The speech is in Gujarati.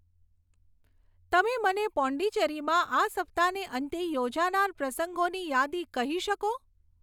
તમે મને પોંડીચેરીમાં આ સપ્તાહને અંતે યોજાનાર પ્રસંગોની યાદી કહી શકો